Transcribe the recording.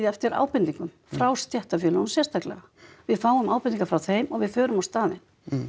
eftir ábendingum frá stéttarfélögunum sérstaklega við fáum ábendingar frá þeim og við förum á staðinn